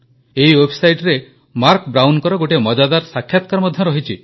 ଏହି ୱେବସାଇଟରେ ମାର୍କ ବ୍ରାଉନଙ୍କର ଗୋଟିଏ ମଜାଦାର ସାକ୍ଷାତକାର ମଧ୍ୟ ରହିଛି